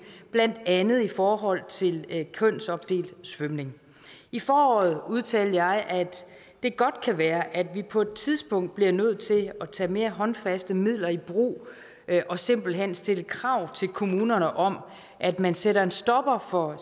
blandt andet i forhold til kønsopdelt svømning i foråret udtalte jeg at det godt kan være at vi på et tidspunkt bliver nødt til at tage mere håndfaste midler i brug og simpelt hen stille krav til kommunerne om at man sætter en stopper for